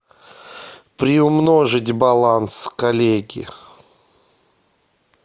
приумножить баланс коллеги